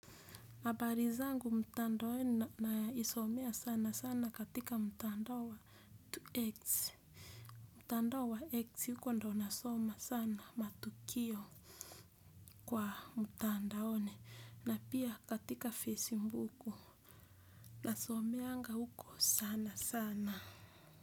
Habarizangu mtandaoni najisomea sana sana katika mtandao wa x mtandao wa x huko ndo nasoma sana matukio kwa mtandaoni na pia katika facebook nasomeanga huko sanasana.